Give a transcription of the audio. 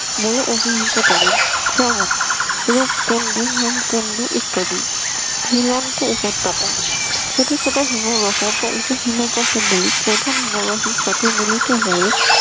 বলে অভিহিত করেন যেমন রূপকুণ্ড হিম কুণ্ড ইত্যাদি ঝুলন্ত উপত্যকা ছোট ছোট হিমবাহ বা উপ হিমবাহ গুলি প্রধান হিমবাহের সাথে মিলিত হয়ে